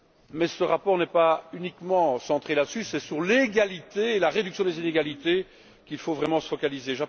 Mais ce rapport n'est pas uniquement centré sur ce sujet. C'est sur l'égalité et la réduction des inégalités qu'il faut vraiment se focaliser.